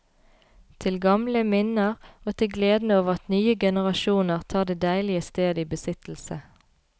Til gamle minner, og til gleden over at nye generasjoner tar det deilige sted i besittelse.